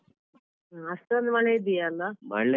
ಹ್ಮ ಅಷ್ಟೊಂದ್ ಮಳೆ ಇದ್ಯಲ್ಲ.